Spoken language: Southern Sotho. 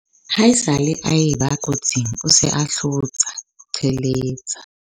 ha esale a e ba kotsing o se a hlotsa - qhiletsa